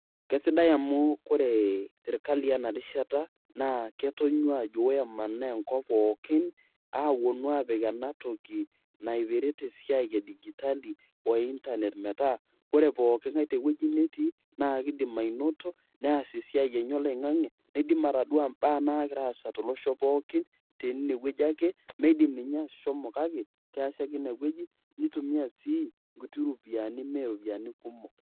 Keaisidai amu Kore serkali natii ena rishata naa, ketonyua ajo woi emanaa enkop pookin apuonu apik ena toki naipirita esiai e digitali o internet metaa Koree pookin ngai te wueji natii naa keidim ainoto, neas esiai enye oloing'ang'e. Neidim atodua esiai nagira aasai tolosho pookin te ine wueji ake, mindim ninye ashomo kake, ias ake teine wueji nintumia ake inkuti ropiani me iropiani kumok